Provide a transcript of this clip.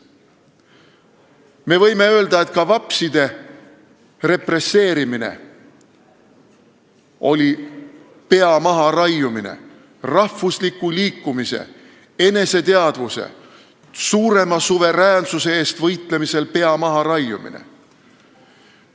Me võime öelda, et ka vapside represseerimine oli pea maharaiumine – rahvusliku liikumise, eneseteadvuse ja suurema suveräänsuse eest võitlemisel pea maharaiumine.